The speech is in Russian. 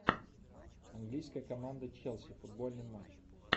английская команда челси футбольный матч